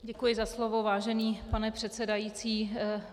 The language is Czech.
Děkuji za slovo, vážený pane předsedající.